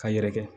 Ka yɛrɛkɛ